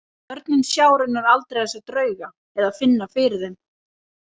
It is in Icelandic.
Börnin sjá raunar aldrei þessa drauga eða finna fyrir þeim.